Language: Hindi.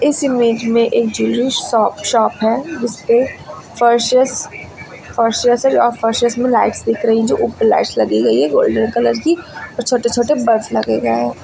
इस इमेज में एक ज्वेलरी शॉप शॉप है जिसपे फर्शेस और में लाइट्स दिख रही जो ऊपर लाइट्स लगी गई हैं गोल्डन कलर की और छोटे छोटे बल्ब्स लगे गई हैं।